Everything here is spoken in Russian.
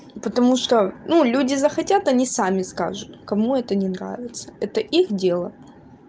потому что ну люди захотят они сами скажут кому это не нравится это их дело